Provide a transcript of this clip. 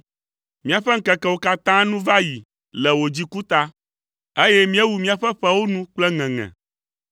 Míaƒe ŋkekewo katã nu va yi le wò dziku ta, eye míewu míaƒe ƒewo nu kple ŋeŋe.